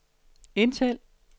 indtal